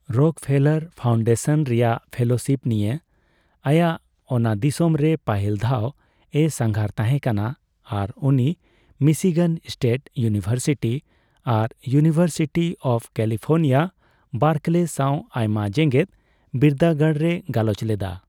Rockefeller foundation ᱨᱮᱭᱟᱜ fellowship ᱱᱤᱭᱟᱹ ᱟᱭᱟᱜ ᱚᱱᱟᱫᱤᱥᱚᱢ ᱨᱮ ᱯᱟᱹᱦᱤᱞ ᱫᱷᱟᱣᱮ ᱥᱟᱸᱜᱷᱟᱨ ᱛᱟᱦᱮᱸᱠᱟᱱᱟ, ᱟᱨ ᱩᱱᱤ ᱢᱤᱥᱤᱜᱟᱱ ᱥᱴᱮᱴ ᱤᱭᱩᱱᱤᱵᱷᱟᱨᱥᱤᱴᱤ ᱟᱨ ᱤᱭᱩᱱᱤᱵᱷᱟᱨᱥᱤᱴᱤ ᱚᱯᱷ ᱠᱮᱞᱤᱯᱷᱚᱨᱱᱤᱭᱟ ᱵᱟᱨᱠᱞᱮ ᱥᱟᱣ ᱟᱭᱢᱟ ᱡᱮᱜᱮᱫ ᱵᱤᱨᱫᱟᱹᱜᱟᱲ ᱨᱮᱭ ᱜᱟᱞᱚᱪ ᱞᱮᱫᱟ ᱾